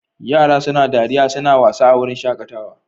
Yara suna dariya suna wasa a wurin shaƙatawa.